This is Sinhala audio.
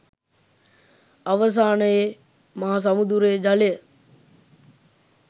අවසානයේ මහ සමුදුරේ ජලය